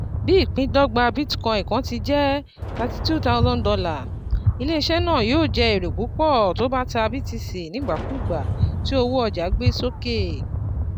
Bí ìpín dọ́gba Bitcoin kan tí jẹ́ thirty two thousand dollar, ilé isẹ́ náà yóò jẹ èrè púpọ̀ tó bá tà BTC nígbàkúùgbà tí owó ọjà gbé sókè.